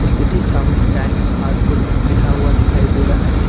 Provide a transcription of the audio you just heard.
उसके ठीक सामने चाइनीज फास्ट फूड लिखा हुआ दिखाई दे रहा है।